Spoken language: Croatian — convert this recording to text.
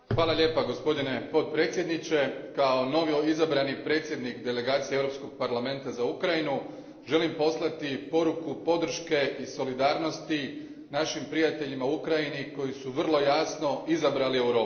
Gospodine predsjedniče, kao novoizabrani predsjednik delegacije Europskog parlamenta za Ukrajinu želim poslati poruku podrške i solidarnosti našim prijateljima u Ukrajini koji su vrlo jasno izabrali Europu.